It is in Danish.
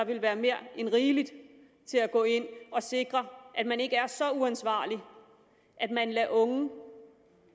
der være mere end rigeligt til at gå ind og sikre at man ikke er så uansvarlig at man lader unge